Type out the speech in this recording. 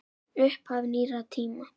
Upphaf nýrri tíma.